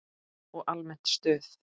Og almennt stuð!